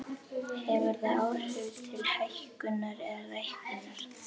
Hefur það áhrif til hækkunar eða lækkunar?